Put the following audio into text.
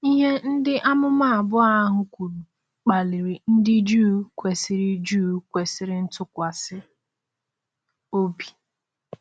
Ihe ndị amụma abụọ ahụ kwuru kpaliri ndị Juu kwesịrị Juu kwesịrị ntụkwasị obi.